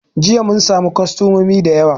Jiya mun samu kostamomi da yawa